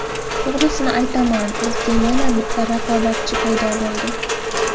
To‘g‘risini aytaman, bizga yana bitta raqobatchi paydo bo‘ldi.